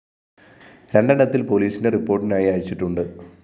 രണ്ടെണ്ണത്തില്‍ പോലീസിന്റെ റിപ്പോര്‍ട്ടിനായി അയച്ചിട്ടുണ്ട്‌